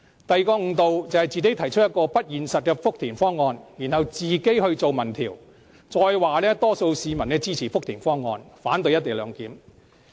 第二個誤導，便是自己提出不現實的福田方案，再自行進行民調，並說多數市民支持福田方案，反對"一地兩檢"。